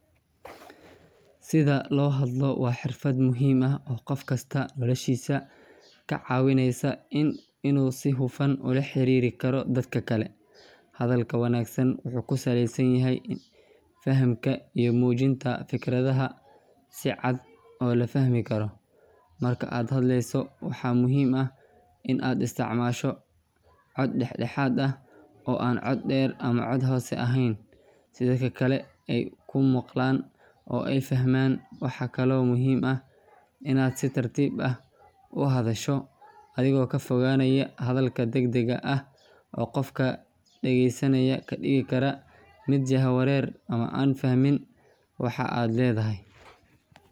Sida loo hadlo waa xirfad muhiim ah oo qof kasta noloshiisa ka caawinaysa inuu si hufan ula xiriiri karo dadka kale. Hadalka wanaagsan wuxuu ku salaysan yahay fahamka iyo muujinta fikradaha si cad oo la fahmi karo. Marka aad hadlayso, waxaa muhiim ah in aad isticmaasho cod dhexdhexaad ah oo aan cod dheer ama cod hoose ahayn, si dadka kale ay kuu maqlaan oo ay fahmaan. Waxaa kaloo muhiim ah inaad si tartiib ah u hadasho, adigoo ka fogaanaya hadalka degdega ah oo qofka dhegeysanaya ka dhigi kara mid jahawareer ama aan fahmin waxa aad leedahay.